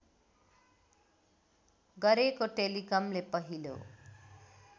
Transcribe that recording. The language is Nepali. गरेको टेलिकमले पहिलो